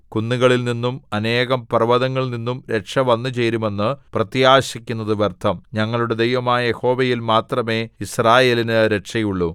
കുന്നുകളിൽ നിന്നും അനേകം പർവ്വതങ്ങളിൽ നിന്നും രക്ഷ വന്നുചേരുമെന്ന് പ്രത്യാശിക്കുന്നത് വ്യർത്ഥം ഞങ്ങളുടെ ദൈവമായ യഹോവയിൽ മാത്രമേ യിസ്രായേലിനു രക്ഷയുള്ളു